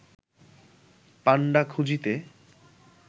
পাণ্ডা খুঁজিতে